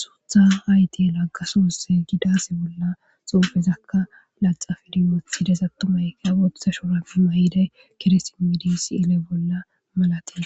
suutha hayti laggasusse gidaass bolla xuufezakka laxafediyotides attomayqa ootha shora pima heday keresinmidi si7ele bolla malati